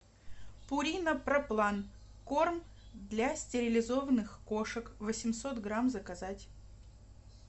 пурина проплан корм для стерилизованных кошек восемьсот грамм заказать